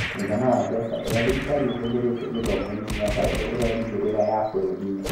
mũigana wa mbeca iria thirikari ĩhũthĩrĩte gĩthomo-inĩ mĩaka ĩrĩa ĩrerĩgĩrĩra ya bũrũri-inĩ.